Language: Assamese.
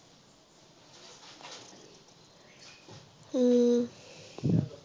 উম